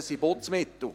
Das sind Putzmittel.